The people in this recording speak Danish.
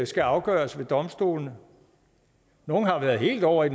skal afgøres ved domstolene nogle har været helt ovre i